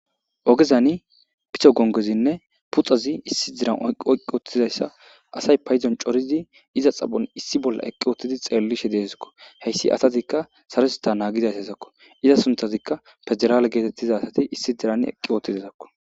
ogezani piso gongezinne puxazi issi diran oqqi wottizayssa asay payzon corizi iza xapon issi bolla eqqi oottidi xeellishe deezikko heyssi asatikka sarosita naagidaysa zakko iza sunthazikka federaale geetettiza asati issi diran eqqi oottidezakko